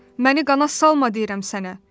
Məni qana salma deyirəm sənə.